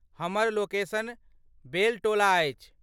हमर लोकेशन बेलटोला अछि।